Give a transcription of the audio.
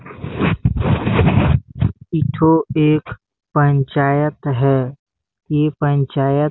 एक ठो एक पंचायत है ये पंचायत--